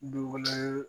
Dugu wɛrɛ